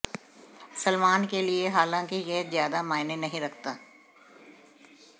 सलमान के लिए हालांकि यह ज्यादा मायने नहीं रखता